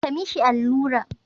Ka mishi allura.